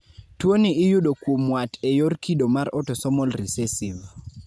tuoni iyudo kuom wat e yor kido mar otosomal risesiv